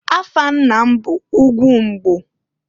Afa nna m bụ Ugwumbgo.